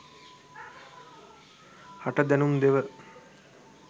හට දැනුම් දෙව.